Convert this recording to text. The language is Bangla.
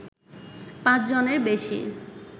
৫ জনের বেশি